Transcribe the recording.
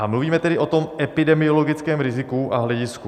A mluvíme tedy o tom epidemiologickém riziku a hledisku.